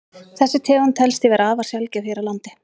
Þessi tegund telst því vera afar sjaldgæf hér á landi.